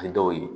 A ye dɔw ye